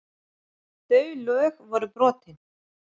Þau lög voru brotin.